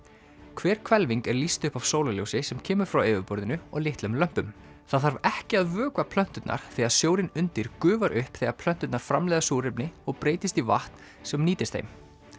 hver hvelfing er lýst upp af sólarljósi sem kemur frá yfirborðinu og litlum lömpum það þarf ekki að vökva plönturnar því að sjórinn undir gufar upp þegar plönturnar framleiða súrefni og breytist í vatn sem nýtist þeim